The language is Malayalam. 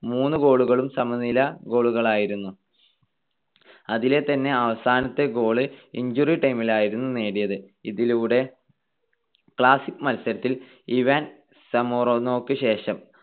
മൂന്നു ഗോളുകളും സമനില goal കളായിരുന്നു. അതിലെത്തന്നെ അവസാനത്തെ goal injury time ലായിരുന്നു നേടിയത്. ഇതിലൂടെ, classic മത്സരത്തിൽ ഇവാൻ സമോറാനോക്ക് ശേഷം